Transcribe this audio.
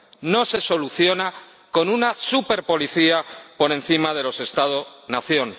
no se soluciona con una superpolicía por encima de los Estados nación.